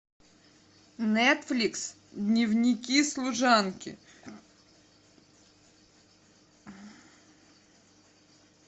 нетфликс дневники служанки